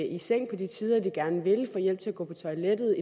i seng på de tider de gerne vil få hjælp til at gå på toilettet